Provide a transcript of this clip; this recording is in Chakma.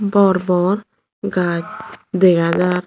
bor bor gaj dega jar.